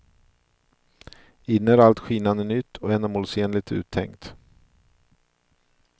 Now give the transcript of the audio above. Inne är allt skinande nytt och ändamålsenligt uttänkt.